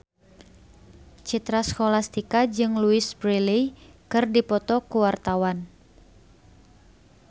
Citra Scholastika jeung Louise Brealey keur dipoto ku wartawan